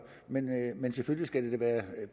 men selvfølgelig skal det da være